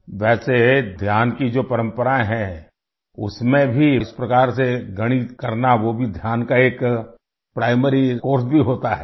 ویسے دھیان کی جو روایت ہے، اس میں بھی اس طرح سے ریاضی کرنا وہ بھی دھیان کا ایک پرائمری کورس بھی ہوتا ہے